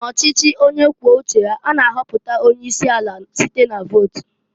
N'ọchịchị onye kwuo uche ya, a na-ahọpụta onye isi ala site na-vot.